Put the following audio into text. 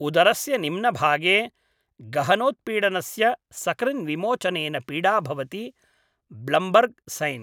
उदरस्य निम्नभागे गहनोत्पीडनस्य सकृन्विमोचनेन पीडा भवति ब्लम्बर्ग् सैन्।